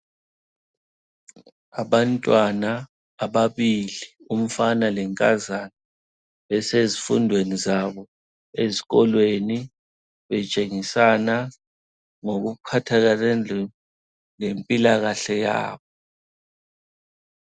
Abantwana ababili umfana lenkazana besezifundweni zabo esikolweni betshengisana ngokuphathelane lempilakahle yabo.